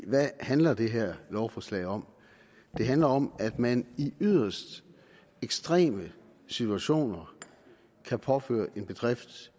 hvad handler det her lovforslag om det handler om at man i yderst ekstreme situationer kan påføre en bedrift